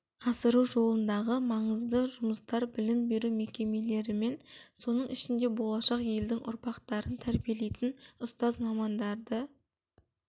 асыру жолындағы маңызды жұмыстар білім беру мекемелерімен соның ішінде болашақ елдің ұрпақтарын тәрбиелейтін ұстаз мамандарды